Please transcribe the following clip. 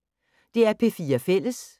DR P4 Fælles